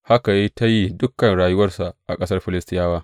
Haka ya yi ta yi dukan rayuwarsa a ƙasar Filistiyawa.